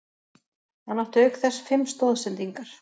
Hann átti auk þess fimm stoðsendingar